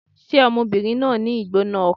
Ṣé ọmọbìnrin náà ń ní ìgbóná-ọkàn?